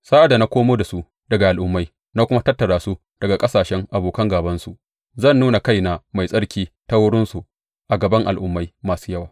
Sa’ad da na komo da su daga al’ummai na kuma tattara su daga ƙasashen abokan gābansu, zan nuna kaina mai tsarki ta wurinsu a gaban al’ummai masu yawa.